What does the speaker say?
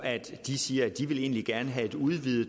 de siger at de egentlig gerne vil have et udvidet